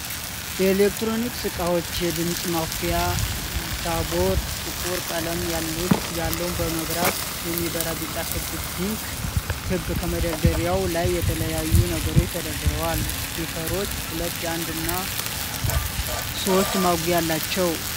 የኤሌክትሮኒክስ እቃዎች የድምፅ ማኩያ ሞንታርቦ ጥቁር ቀለም ያለዉ በመብራት የሚበራ ቢጫ ክብ፣ ፒንክ ክብ ከመደርደሪያዉ ላይ የተለያዩ ነገሮች ተደርደርዋል። ስፒከሮቹ ሁለት፣ አንድ እና ሦስት ማጉያ አላቸዉ።